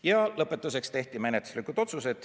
Ja lõpuks tehti menetluslikud otsused.